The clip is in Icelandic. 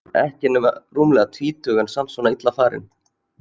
Ekki nema rúmlega tvítug en samt svona illa farin.